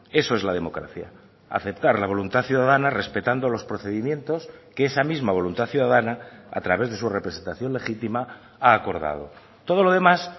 eso es la democracia aceptar la voluntad ciudadana respetando los procedimientos que esa misma voluntad ciudadana a través de su representación legítima ha acordado todo lo demás